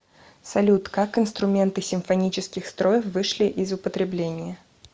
салют как инструменты симфонических строев вышли из употребления